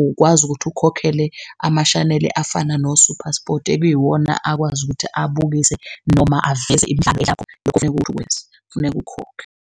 Ukwazi ukuthi ukhokhele amashaneli afana no-Super Sport ekiwona akwazi ukuthi abukise, noma aveze imidlalo yakho, lokho kuthi kufuneka ukwenze, kufuneka ukhokhe.